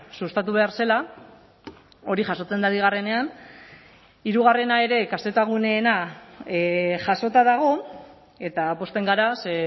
sustatu behar zela hori jasotzen da bigarrenean hirugarrena ere kzguneena jasota dago eta pozten gara ze